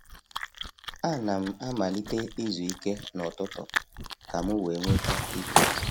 A na m amalite izu ike n’ututu ka m wee nweta ike.